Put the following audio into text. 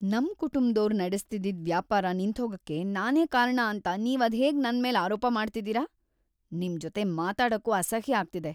ನಮ್‌ ಕುಟುಂಬ್ದೋರ್‌ ನಡೆಸ್ತಿದ್ದಿದ್ ವ್ಯಾಪಾರ ನಿಂತ್ಹೋಗಕ್ಕೆ ನಾನೇ ಕಾರಣ ಅಂತ ನೀವ್‌ ಅದ್ಹೇಗ್‌ ನನ್ಮೇಲ್‌ ಆರೋಪ ಮಾಡ್ತಿದೀರ? ನಿಮ್‌ ಜೊತೆ ಮಾತಾಡಕ್ಕೂ ಅಸಹ್ಯ ಆಗ್ತಿದೆ.